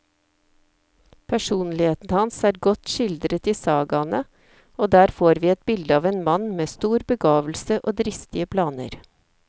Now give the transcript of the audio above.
Personligheten hans er godt skildret i sagaene, og der får vi et bilde av en mann med stor begavelse og dristige planer.